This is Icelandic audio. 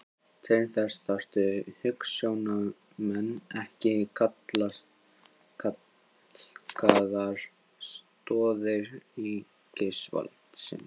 Til þess þarf hugsjónamenn en ekki kalkaðar stoðir ríkisvaldsins.